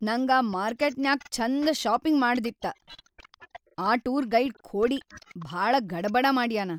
ನಂಗ್ ಆ ಮಾರ್ಕೆಟ್ನ್ಯಾಗ್ ಛಂದ ಷಾಪಿಂಗ್‌ ಮಾಡದಿತ್ತ, ಆ ಟೂರ್‌ ಗೈಡ್‌ ಖೋಡಿ ಭಾಳ ಗಡಬಡ ಮಾಡ್ಯಾನ.